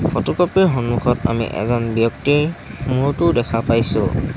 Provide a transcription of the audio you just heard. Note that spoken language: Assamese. ফটোকপি ৰ সন্মুখত আমি এজন ব্যক্তিৰ মূৰটো দেখা পাইছোঁ।